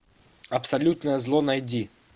абсолютное зло найди